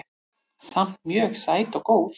Samt mjög sæt og góð